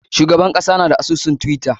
Shugaban kasa na da asusun twitter.